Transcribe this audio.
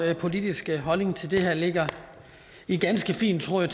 politiske holdning til det her ligger i ganske fin tråd